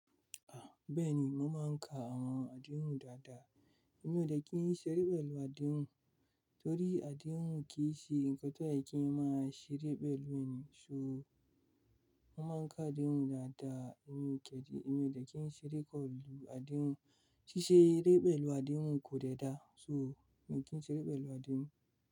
Beeni mo ma n ka awon àdéhùn dada. Èmi o dé kí n ṣeré pélù àdéhùn, torí àdéhùn kìí ṣe nǹkan tó yẹ kí a máa ṣeré pelu ni. So mo ma n ka àdéhùn dada, èmi kẹ́di, èmi o dé kí n ṣeré pélù àdéhùn. Sì ṣe eré pélù àdéhùn ko dé da, so èmi mo kì í ṣeré pélù àdéhùn.